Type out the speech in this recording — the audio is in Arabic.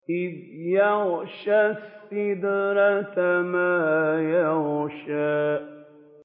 إِذْ يَغْشَى السِّدْرَةَ مَا يَغْشَىٰ